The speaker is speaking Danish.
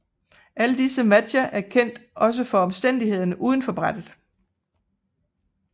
Alle disse matcher er kendt også for omstændighederne uden for brættet